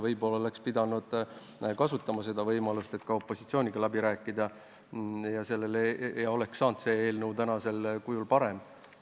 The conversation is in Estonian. Võib-olla oleks pidanud kasutama võimalust ja ka opositsiooniga läbi rääkima, võib-olla oleks tänane eelnõu saanud parem.